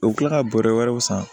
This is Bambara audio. U bɛ tila ka bɔrɛ wɛrɛw san